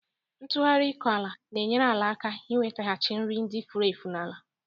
Ntụgharị ịkọ ala na-enyere ala aka inwetaghachi nri ndị furu efu n'ala